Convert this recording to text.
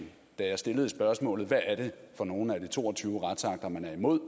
da jeg stillede spørgsmålet hvad er det for nogle af de to og tyve retsakter man er imod